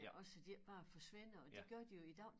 Ja også så de ikke bare forsvinder og det gør de jo i dag